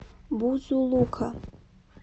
бузулука